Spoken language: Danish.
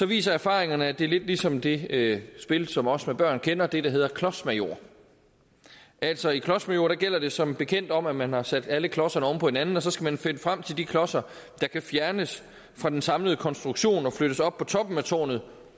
viser erfaringerne at det er lidt ligesom det spil som os med børn kender nemlig det der hedder klodsmajor altså i klodsmajor gælder det som bekendt om at man har sat alle klodserne oven på hinanden og så skal man finde frem til de klodser der kan fjernes fra den samlede konstruktion og flyttes op på toppen af tårnet